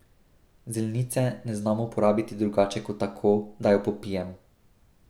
Zelnice ne znam uporabiti drugače kot tako, da jo popijem.